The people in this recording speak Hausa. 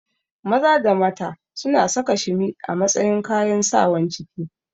Maza da mata suna saka shimi a matsayin kayan Sawan ciki